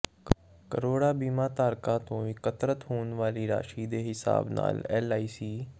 ਕਰੌੜਾਂ ਬੀਮਾ ਧਾਰਕਾਂ ਤੋਂ ਇਕੱਤਰ ਹੋਣ ਵਾਲੀ ਰਾਸ਼ੀ ਦੇ ਹਿਸਾਬ ਨਾਲ ਐਲਆਈਸੀ